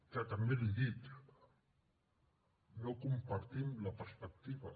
que també l’hi dic no en compartim la perspectiva